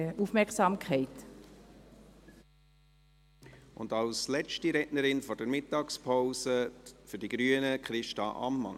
Als letzte Rednerin vor der Mittagspause, für die Grünen, Christa Ammann.